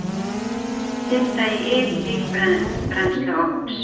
Synda í yl líkbrennsluofns